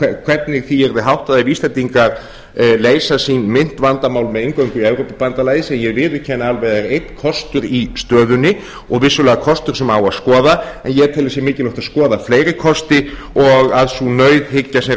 hvernig því yrði háttað ef íslendingar leysa sín myntvandamál með inngöngu í evrópubandalagið sem ég viðurkenni alveg að er einn kostur í stöðunni og vissulega kostur sem á að skoða en ég tel að það sé mikilvægt að skoða fleiri kosti og að sú nauðhyggja sem